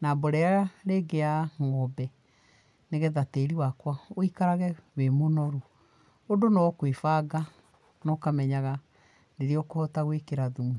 na mborera rĩngĩ ya ngombe nĩgetha tĩri wakwa wĩikarage wĩ mũnoru. Ũndũ no kwĩbanga na ũkamenyaga rĩrĩa ũkũhota gwĩkĩra thumu.